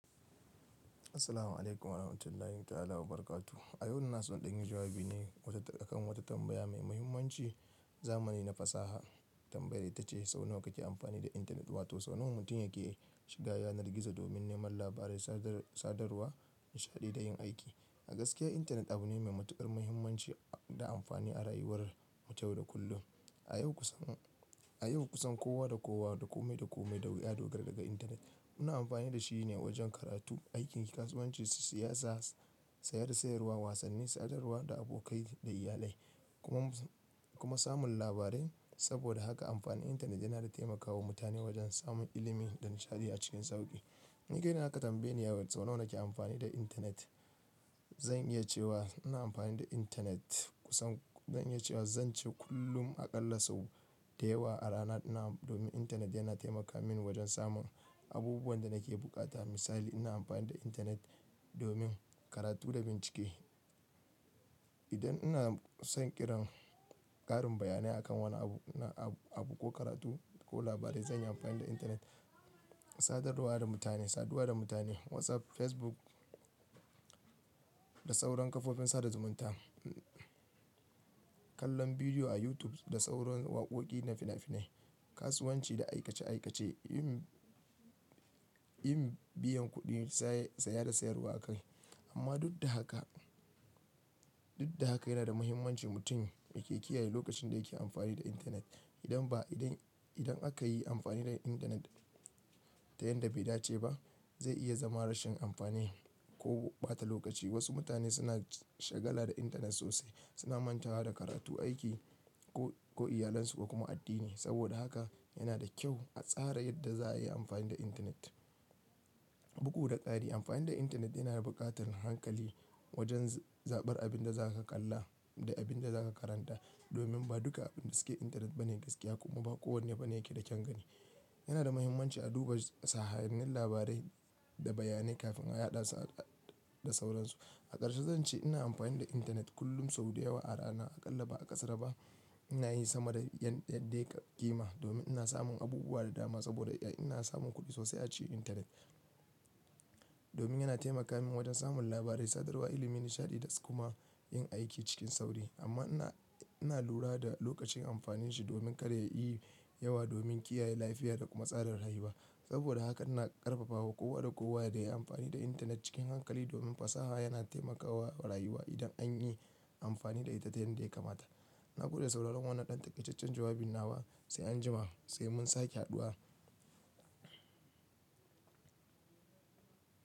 Assalamu alaikum wa rahmatullahi ta'ala wa barakatuh. A yau ina so in ɗanyi jawabi ne akan wata tambaya mai muhimmanci zamani na fasaha. Tambayar ita ce, sau nawa kake amfani da intarnet? Wato sau nawa mutum yake shiga yanar gizo domin neman labarai, sadarwa, nishaɗi da yin aiki. A gaskiya intanet abu ne mai matuƙar muhimmanci da amfani a rayuwar mu ta yau da kullum. A yau kusan, a yau kusan kowa da kowa, da kome da kome duk ya dogara daga intanet. Muna amfani da shi ne wajen karatu, aiki, kasuwanci, siyasa, saya da sayarwa, wasanni, sadarwa da abokai da iyalai kuma, kuma samun labarai. Saboda haka amfanin intanet yana da taimakawa mutane wajen samun ilimi da nishaɗi a cikin sauƙi. Ni kai na aka tambaye ni ya sau nawa nake amfani da intanet, zan iya cewa ina amfani da intanet kusan zan iya cewa zan ce kullum a ƙalla sau da yawa a rana. Na'am, domin intanet yana taimaka mini wajen samun abubuwan da nake bukata. Misali ina amfani da intanet domin karatu da bincike. Idan ina son iran ƙarin bayanai akan wani abu, na abu ko karatu ko labarai zan yi amfani da intanet. Sadarwa da mutane, saduwa da mutane, WhatsApp, Facebook da sauran kafofin sada zumunta. Kallon bidiyo a YouTube da sauran waƙoƙi na fina-finai, kasuwanci da aikace aikace, yin, yin biyan kuɗi, sai, saya da sayarwa kawai. Amma duk da haka, duk da haka yana da muhimmanci mutum yake kiyaye lokacin da yake amfani da intanet. Idan ba idan, idan aka yi amfani da intanet ta yanda bai dace ba zai iya zama rashin amfani ko ɓata lokaci. Wasu mutane suna shagala da intanet sosai, suna mantawa da karatu, aiki ko, ko iyalansu kuma addini. Saboda haka yana da kyau a tsara yadda za ayi amfani da intanet. Bugu da kari. Amfani da intanet yana buƙatar hankali wajen zaɓar abin da zaka kalla da abin da zaka karanta. Domin ba duka abin da suke intanet bane gaskiya kuma ba kowane abu ne yake da kyan gani. Yana da muhimmanci a duba sahihannin labarai da bayanai kafin a yaɗa su da sauransu. A ƙarshe zan ce ina amfani da intanet kullum sau da yawa a rana. A ƙalla ba a ƙasara ba. Ina yi sama da yadda ya ƙima domin ina samun abubuwa da dama. Saboda ina samun kuɗi sosai a cikin intanet. Domin yana taimaka min wajen samun labarai, sadarwa, ilimi, nishaɗi da kuma yin aiki cikin sauri. Amma ina, ina lura da lokacin amfanin shi domin kada ya yi yawa domin kiyaye lafiya da kuma tsadar rayuwa. Saboda haka ina ƙarfafawa kowa da kowa da ya yi amfani da intanet cikin hankali domin fasaha yana taimakawa rayuwa idan an yi amfani da ita yanda ta ya kamata. Na gode sauraron wannan ɗan takaitaccen jawabin nawa. Sai anjima, sai mun sake haɗuwa.